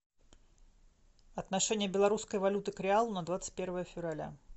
отношение белорусской валюты к реалу на двадцать первое февраля